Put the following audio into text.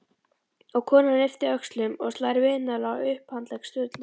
Og konan ypptir öxlum og slær vinalega á upphandlegg Sturlu.